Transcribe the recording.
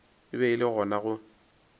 be e le gona go